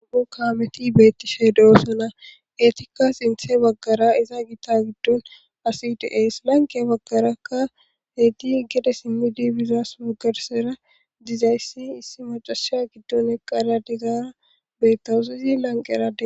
Nam'u kaameti beettishe de'osona etika sinthe baggara iza gita giddon asitays lanqe baggaraakka heyti heggede simmi dibizaas waggarsera dizayssi issi macasha giddon eqqara dizaara bettawusi izi lanqeera